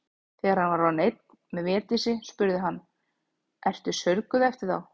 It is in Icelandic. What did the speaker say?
Þegar hann var orðinn einn með Védísi spurði hann:-Ertu saurguð eftir þá.